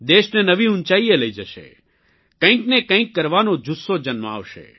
દેશને નવી ઉંચાઇએ લઇ જશે કંઇકને કંઇક કરવાનો જુસ્સો જન્માવશે